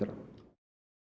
á